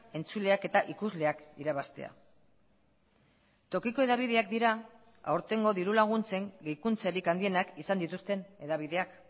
entzuleak eta ikusleak irabaztea tokiko hedabideak dira aurtengo diru laguntzen gehikuntzarik handienak izan dituzten hedabideak